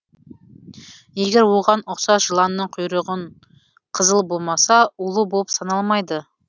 егер оған ұқсас жыланның құйрығын қызыл болмаса улы болып саналмайды